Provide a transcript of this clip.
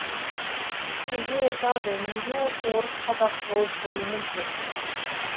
кейде айтады неге осы орыс қазақ болып бөлінеді деп